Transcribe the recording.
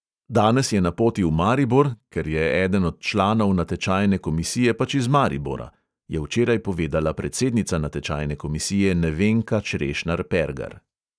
"Danes je na poti v maribor, ker je eden od članov natečajne komisije pač iz maribora," je včeraj povedala predsednica natečajne komisije nevenka črešnar pergar.